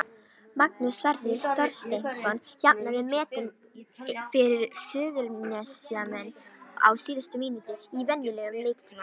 Magnús Sverrir Þorsteinsson jafnaði metin fyrir Suðurnesjamenn á síðustu mínútu í venjulegum leiktíma.